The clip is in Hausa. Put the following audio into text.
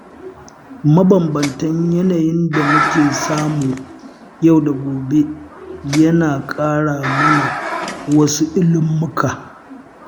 Mabanbantan yanayin da mu ke samu yau da gobe yana ƙara mana wasu ilmummuka